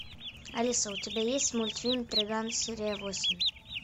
алиса у тебя есть мультфильм триган серия восемь